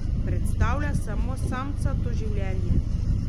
Predstavlja samo samcato življenje.